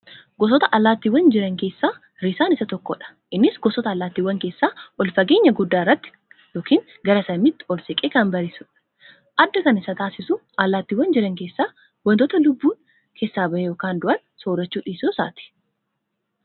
Gosoota alaattii jiran keessa Risaan isa tokkodha innis gosoota allaattiiwwan keessaa ol fageenya guddaa irratti ykn gara samiitti ol siqee kan barrisudha. adda kan isa taasisu alaattiiwwaan jiran keessa wantoota lubbuun keessaa bahe (du'aa)soorachuu dhiisuu isaati.